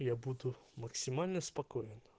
я буду максимально спокоен